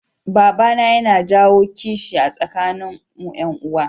Babana yana jawo kishi a tsakanin mu yan uwa